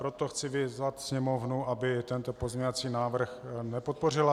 Proto chci vyzvat Sněmovnu, aby tento pozměňovací návrh nepodpořila.